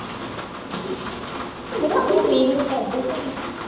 ਹੁਣ ਨੀ ਕਰਦੇ phone